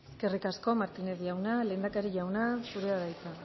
eskerrik asko eskerrik asko martínez jauna lehendakari jauna zurea da hitza